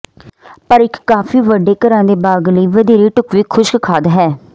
ਪਰ ਇੱਕ ਕਾਫ਼ੀ ਵੱਡੇ ਘਰਾਂ ਦੇ ਬਾਗ਼ ਲਈ ਵਧੇਰੇ ਢੁਕਵੀਂ ਖੁਸ਼ਕ ਖਾਦ ਹੈ